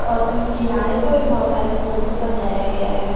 और किनारे पर भी बहोत सारे फूल से सजाया गया हैं।